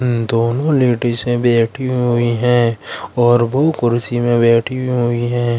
दोनों लेडिजे बैठी हुई है और वो कुर्सी में बैठी हुई है।